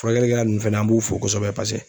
Furakɛlikɛla nunnu fɛnɛ an b'u fo kosɛbɛ paseke